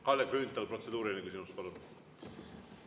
Kalle Grünthal, protseduuriline küsimus, palun!